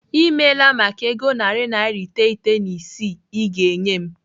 I meela maka ego narị naira iteghete na isii I ga-enye m.